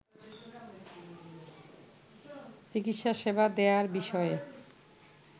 চিকিৎসা সেবা দেয়ার বিষয়ে